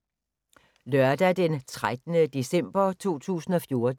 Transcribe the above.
Lørdag d. 13. december 2014